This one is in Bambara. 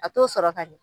A t'o sɔrɔ ka ɲɛ